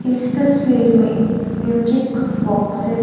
इस तस्वीर में म्यूजिक बॉक्सेस --